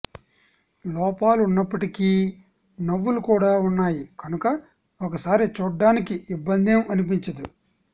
లోపాలు ఉన్నప్పటికీ నవ్వులు కూడా ఉన్నాయి కనుక ఒకసారి చూడ్డానికి ఇబ్బందేం అనిపించదు